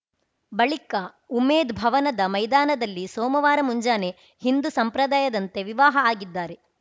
ಬಳಿಕ ಉಮೇದ್‌ ಭವನದ ಮೈದಾನದಲ್ಲಿ ಸೋಮವಾರ ಮುಂಜಾನೆ ಹಿಂದು ಸಂಪ್ರದಾಯದಂತೆ ವಿವಾಹ ಆಗಿದ್ದಾರೆ